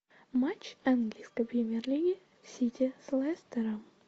матч английской премьер лиги сити с лестером